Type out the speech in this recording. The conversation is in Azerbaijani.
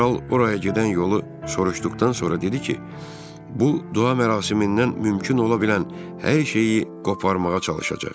Kral oraya gedən yolu soruşduqdan sonra dedi ki, bu dua mərasimindən mümkün ola bilən hər şeyi qoparmağa çalışacaq.